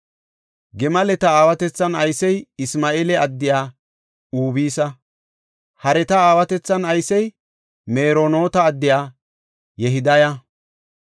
Gimaleta aawatethan aysey Isma7eela addiya Ubisa. Hareta aawatethan aysey Meronoota addiya Yehidaya.